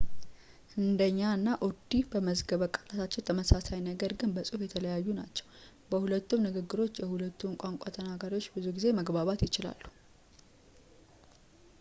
ህንዲኛ እና ኡርዱ በመዝገበ ቃላታቸው ተመሳሳይ ነገር ግን በጽሁፍ የተለያዩ ናቸው በሁሉም ንግግሮች የሁለቱም ቋንቋ ተናጋሪዎች ብዙ ጊዜ መግባባት ይችላሉ